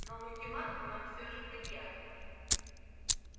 но ультиматум нам все же предъявлен